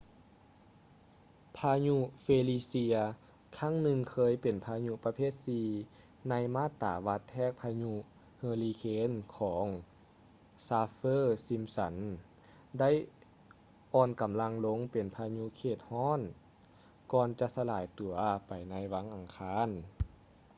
ພາຍຸ ເຟລີເຊຍ felicia ຄັ້ງໜຶ່ງທີ່ເຄີຍເປັນພາຍຸປະເພດ 4 ໃນມາດຕາວັດແທກພາຍຸເຮີຣິເຄນຂອງ ຊາຟ໌ເຟີ-ຊິມຊັນ saffir-simpson ໄດ້ອ່ອນກຳລັງລົງເປັນພາຍຸເຂດເຂດຮ້ອນກ່ອນຈະສະລາຍຕົວໄປໃນວັນອັງຄານ